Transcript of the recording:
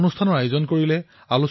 শতাধিক লোকক তাতেও সংযোজিত কৰা হল